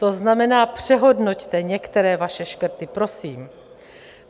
To znamená, přehodnoťte některé vaše škrty, prosím.